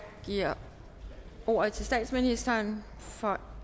giver ordet til statsministeren for